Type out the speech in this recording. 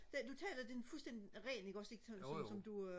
den du taler den fuldstændig ren ikke også ikke som som du øh